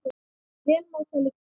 Vel má það liggja.